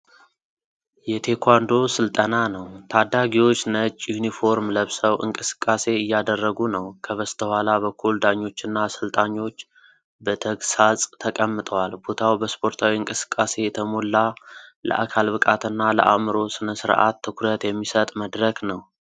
የቴኳንዶ ስልጠና ነው ።ታዳጊዎች ነጭ ዩኒፎርም ለብሰው እንቅስቃሴ እያደረጉ ነው። ከበስተኋላ በኩል ዳኞችና አሰልጣኞች በተግሳጽ ተቀምጠዋል። ቦታው በስፖርታዊ እንቅስቃሴ የተሞላ፣ ለአካል ብቃትና ለአዕምሮ ስነ-ስርዓት ትኩረት የሚሰጥ መድረክ ነው።